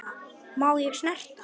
Má ég snerta?